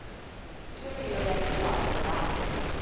tirio ya letshwalo la r